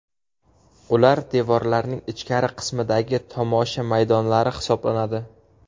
Ular devorlarning ichkari qismidagi tomosha maydonlari hisoblanadi.